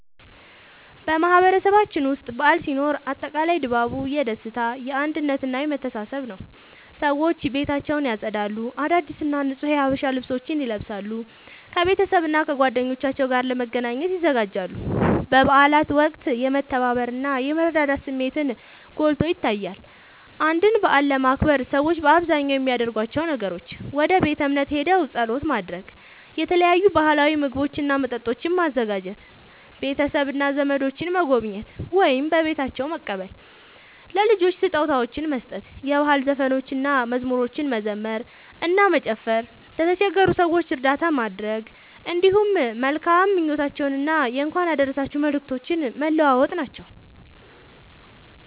በማህበረሰባችን ውስጥ በዓል ሲኖር አጠቃላይ ድባቡ የደስታ፣ የአንድነት እና የመተሳሰብ ነዉ። ሰዎች ቤታቸውን ያጸዳሉ፣ አዳዲስ እና ንጹህ የሀበሻ ልብሶችን ይለብሳሉ፣ ከቤተሰብና ከጓደኞቻቸው ጋር ለመገናኘት ይዘጋጃሉ። በበዓላት ወቅት የመተባበር እና የመረዳዳት ስሜትን ጎልቶ ይታያል። አንድን በዓል ለማክበር ሰዎች በአብዛኛው የሚያደርጓቸው ነገሮች፦ ወደ ቤተ እምነት ሄደው ጸሎት ማድረግ፣ የተለያዩ ባህላዊ ምግቦችና መጠጦችን ማዘጋጀ፣ ቤተሰብና ዘመዶችን መጎብኘት ወይም በቤታቸው መቀበል፣ ለልጆች ስጦታዎችን መስጠት፣ የባህል ዘፈኖችንና መዝሙሮችን መዘመር እና መጨፈር፣ ለተቸገሩ ሰዎች እርዳታ ማድረግ፣ እንዲሁም መልካም ምኞቶችንና የእንኳን አደረሳችሁ መልእክቶችን መለዋወጥ ናቸዉ።